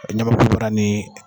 Ɲamakubara ni